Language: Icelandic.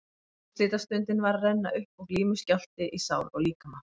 Úrslitastundin var að renna upp og glímuskjálfti í sál og líkama.